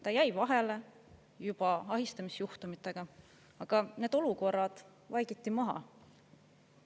Ta jäi vahele juba ahistamisjuhtumitega, aga need olukorrad vaikiti maha.